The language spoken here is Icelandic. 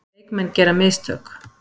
Leikmenn gera mistök.